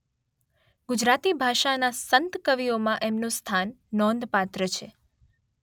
ગુજરાતી ભાષાના સંતકવિઓમાં એમનું સ્થાન નોંધપાત્ર છે.